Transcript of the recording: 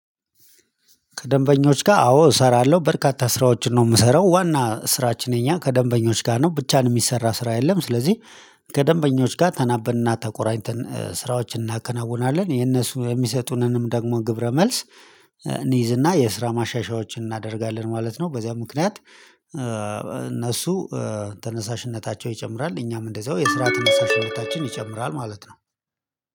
ከደንበኞች ጋር አዎ እሰራለሁ በርካታ ስራዎችን ነው የምሰራው ዋና ስራችን የኛ ከደንበኞች ጋር ነው ብቻን የሚሰራ ስራ የለም። ስለዚህ ከደንበኞች ጋር ተናበንና ተቆራኝተን ስራዎችን እናከናውናለን የነሱ የሚሰጡንንም ደግሞ ግብረ መልስ እንይዝና የስራ ማሻሻያዎችን እናደርጋለን ማለት ነው። በዚያ ምክንያት እነሱ ተነሳሽነታቸው ይጨምራል እኛም እንደዛው የስራ ተነሳሽ ሁለታችን ይጨምራል። ማለት ነው